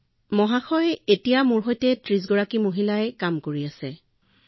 মহোদয় এতিয়াও মই ৩০ গৰাকী মহিলাৰ সৈতে কাম কৰি আছো